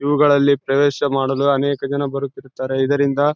ಇವುಗಳಲ್ಲಿ ಪ್ರವೇಶ ಮಾಡಲು ಅನೇಕ ಜನ ಬರುತ್ತಿರುತ್ತಾರೆ ಇದರಿಂದ --